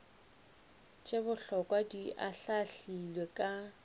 tše bohlokwa di ahlaahlilwe ka